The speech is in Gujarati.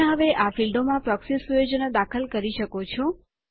તમે હવે આ ફીલ્ડો માં પ્રોક્સી સુયોજનો દાખલ કરી શકો છો